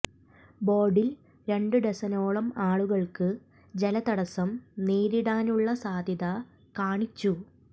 ബോർഡിൽ രണ്ട് ഡസനോളം ആളുകൾക്ക് ജല തടസ്സം നേരിടാനുള്ള സാധ്യത കാണിച്ചു